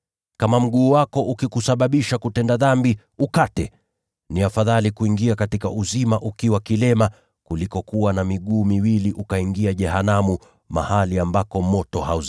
Kama mguu wako ukikusababisha kutenda dhambi, ukate. Ni afadhali kwako kuingia katika uzima ukiwa kiwete, kuliko kuwa na miguu miwili lakini ukaingia jehanamu. [